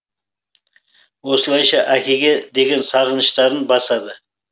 осылайша әкеге деген сағыныштарын басады